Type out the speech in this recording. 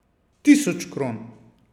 Tisoč kron.